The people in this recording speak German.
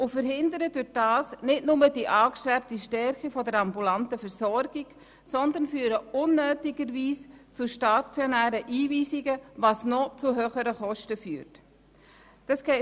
Damit verhindern sie nicht nur die angestrebte Stärkung der ambulanten Versorgung, sondern sie führen unnötigerweise zu stationären Einweisungen, was zu noch höheren Kosten führen wird.